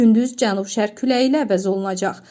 Gündüz cənub-şərq küləyi ilə əvəz olunacaq.